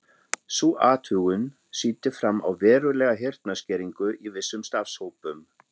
Sú athugun sýndi fram á verulega heyrnarskerðingu í vissum starfshópum.